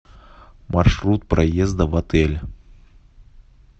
маршрут проезда в отель